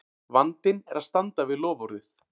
Vandinn er að standa við loforðið!